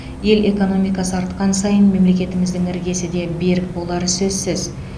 ел экономикасы артқан сайын мемлекетіміздің іргесі де берік болары сөзсіз